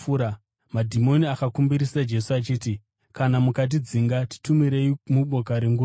Madhimoni akakumbirisa Jesu achiti, “Kana mukatidzinga, titumirei muboka renguruve.”